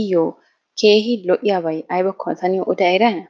iyyo keehi lo"iyaaba aybbakko ta niyo yoota eriyaana?